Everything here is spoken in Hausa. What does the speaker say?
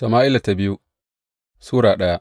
biyu Sama’ila Sura daya